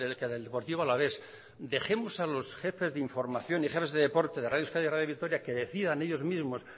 que del deportivo alavés dejemos a los jefes de información de deporte de radio euskadi radio de vitoria que decidan ellos mismos